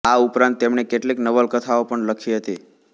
આ ઉપરાંત તેમણે કેટલીક નવલકથાઓ પણ લખી હતી